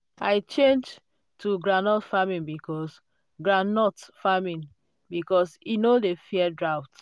i change to groundnut farming because groundnut farming because e no dey fear drought.